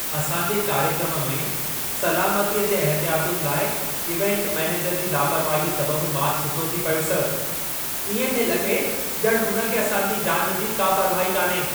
असां जे कार्यक्रमु में सलामतीअ जे एहतियातुनि लाइ इवेंट मैनेजर जी लापरवाहीअ सबबु मां छितो थी पियुसि। इएं थिए लॻे ॼण हुन खे असांजी जान जी का परवाहु ई कोन्हे।